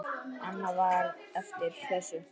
Annað var eftir þessu.